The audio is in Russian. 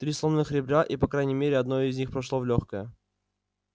три сломанных ребра и по крайней мере одно из них прошло в лёгкое